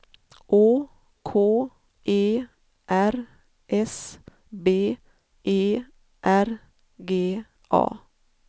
Å K E R S B E R G A